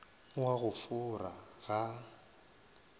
o a go fora ga